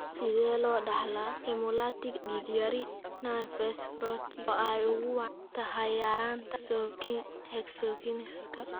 Sidee loo dhaxlaa hemolytic dig yari nonspherocytic oo ay ugu wacan tahay yaraanta hexokinaska?